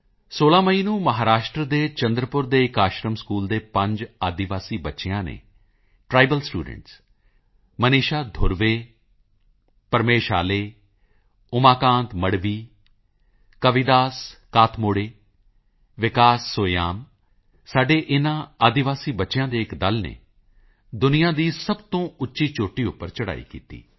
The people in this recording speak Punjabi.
16 ਮਈ ਨੂੰ ਮਹਾਂਰਾਸ਼ਟਰ ਦੇ ਚੰਦਰਪੁਰ ਦੇ ਇੱਕ ਆਸ਼ਰਮ ਸਕੂਲ ਦੇ 5 ਆਦਿਵਾਸੀ ਬੱਚਿਆਂ ਨੇ ਟ੍ਰਾਈਬਲ ਸਟੂਡੈਂਟਸ ਮਨੀਸ਼ਾ ਧੁਰਵੇ ਪ੍ਰਮੇਸ਼ ਆਲੇ ਉਮਾਕਾਂਤ ਮਡਵੀ ਕਵਿਦਾਸ ਕਾਤਮੋੜੇ ਵਿਕਾਸ ਸੋਯਾਮ ਸਾਡੇ ਇਨ੍ਹਾਂ ਆਦਿਵਾਸੀ ਬੱਚਿਆਂ ਦੇ ਇੱਕ ਦਲ ਨੇ ਦੁਨੀਆਂ ਦੀ ਸਭ ਤੋਂ ਉੱਚੀ ਚੋਟੀ ਉੱਪਰ ਚੜ੍ਹਾਈ ਕੀਤੀ